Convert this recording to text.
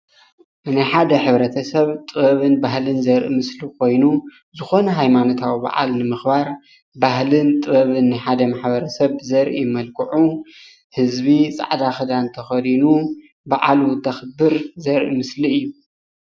ናይ ሓደ ሕብረተሰብ ጥበብን ባህልን ዘርኢ ምስሊ ኮይኑ ዝኮነ ሃይማኖታዊ በዓል ንምክባር ባህልን ጥበብን ናይ ሓደ ማሕበረሰብ ዘርኢ መልክዑ ህዝቢ ፃዕዳ ክዳንት ተከዱኑ በዓሉ እንተክብር ዘርኢ ምስሊ እዩ፡፡